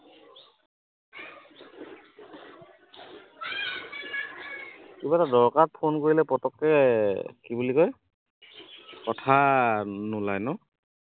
কিবা এটা দৰকাৰত ফোন কৰিলে পতককে কি বুলি কয় কথা নোলায় ন